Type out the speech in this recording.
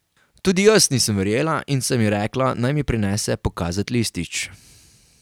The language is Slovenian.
Tudi jaz nisem verjela in sem ji rekla, naj mi prinese pokazat listič.